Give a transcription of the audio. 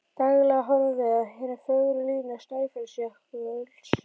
Daglega horfum við á hinar fögru línur Snæfellsjökuls